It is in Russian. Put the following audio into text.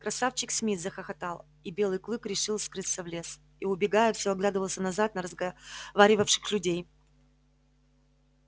красавчик смит захохотал и белый клык решил скрыться в лес и убегая все оглядывался назад на разговаривавших людей